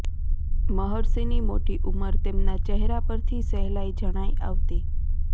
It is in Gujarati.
મહર્ષિની મોટી ઉંમર તેમના ચહેરા પરથી સહેલાઇ જણાઇ આવતી